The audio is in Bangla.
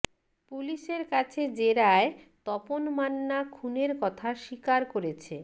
পুলিশের কাছে জেরায় তপন মান্না খুনের কথা স্বীকার করেছে